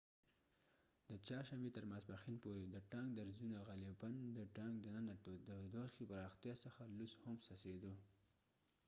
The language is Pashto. د چهارشنبې تر ماسپښین پورې د ټانک درزونو غالپاً د ټانک دننه د تودوخي پراختیا څخه لوس هم څڅیدو